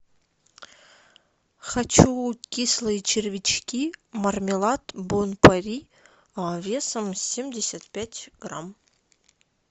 хочу кислые червячки мармелад бон пари весом семьдесят пять грамм